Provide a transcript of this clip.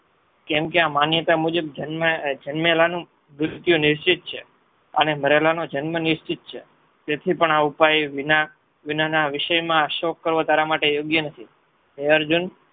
કેમ કે આ માન્યતા મુજબ જન્મેલાનું મૃત્યુ નિશ્ચિત છે. અને મરેલાનો જન્મ નિશ્ચિત છે તેથી પણ આ ઉપાય વિના ના વિષયમાં શોક કરવો તારા માટે યોગ્ય નથી. હે અર્જુન